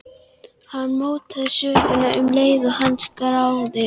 Hann mótar söguna um leið og hann skráir.